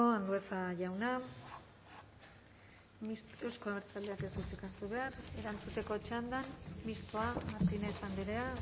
andueza jauna euzko abertzaleak ez du hitzik hartu behar erantzuteko txandan mistoa martínez andrea